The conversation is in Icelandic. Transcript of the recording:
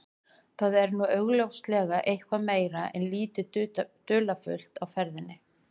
Þar var nú augljóslega eitthvað meira en lítið dularfullt á ferðinni.